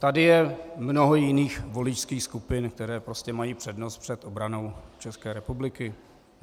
Tady je mnoho jiných voličských skupin, které prostě mají přednost před obranou České republiky.